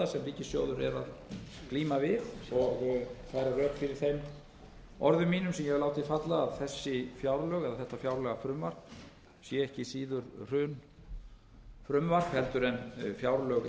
ríkissjóður er að glíma við og færa rök fyrir þeim orðum mínum sem ég hef látið falla að þetta fjárlagafrumvarp sé ekki síður hrunfrumvarp en fjárlög